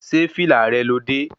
Ṣé fìlà rẹ lo dé?